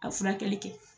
A furakɛli kɛ